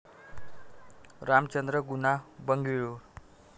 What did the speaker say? Ramchandra Guha, Bengaluru